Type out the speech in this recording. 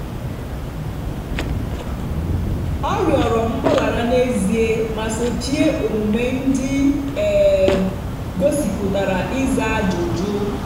ọ rịọrọ mgbaghara n'ezie ma sochie omume ndị um gosipụtara ịza ajụjụ.